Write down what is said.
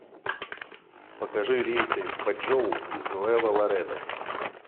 покажи рейсы в бочжоу из нуэво ларедо